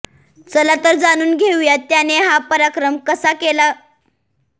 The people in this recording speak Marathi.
चला तर जाणून घेऊया त्याने हा पराक्रम कसा केला